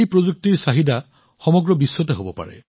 এই প্ৰযুক্তিৰ চাহিদা সমগ্ৰ বিশ্বতে হব পাৰে